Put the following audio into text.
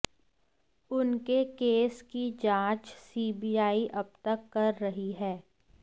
उनके केस की जांच सीबीआई अबतक कर रही है